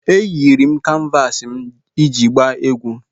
Eyiri m kanvas m iji gbaa egwu